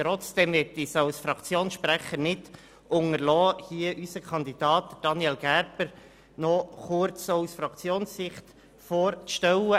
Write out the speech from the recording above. Trotzdem möchte ich als Fraktionssprecher unseren Kandidaten Daniel Gerber noch kurz aus Fraktionssicht vorstellen.